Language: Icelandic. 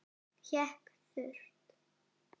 Hékk þurrt.